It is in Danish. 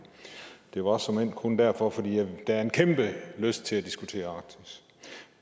det var såmænd kun derfor for der er en kæmpe lyst til at diskutere arktis